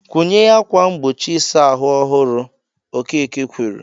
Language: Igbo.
"Kwụnye ákwà mgbochi ịsa ahụ ọhụrụ" Okeke kwuru.